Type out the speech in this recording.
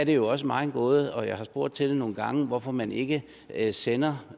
jo også mig en gåde og jeg har spurgt til det nogle gange hvorfor man ikke ikke sender